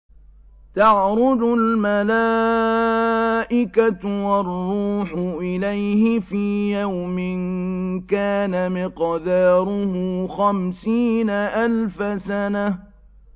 تَعْرُجُ الْمَلَائِكَةُ وَالرُّوحُ إِلَيْهِ فِي يَوْمٍ كَانَ مِقْدَارُهُ خَمْسِينَ أَلْفَ سَنَةٍ